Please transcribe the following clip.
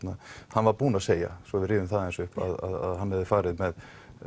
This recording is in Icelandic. hann var búinn að segja svo við rifjum aðeins upp að hann hafi farið með